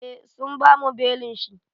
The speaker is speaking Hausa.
Eh sun bamu belin shi.